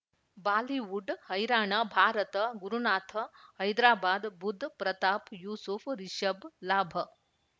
Bollywood ಹೈರಾಣ ಭಾರತ ಗುರುನಾಥ ಹೈದರಾಬಾದ್ ಬುಧ್ ಪ್ರತಾಪ್ ಯೂಸುಫ್ ರಿಷಬ್ ಲಾಭ